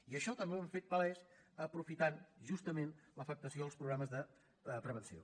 i això també ho hem fet palès aprofitant justament l’afectació als programes de prevenció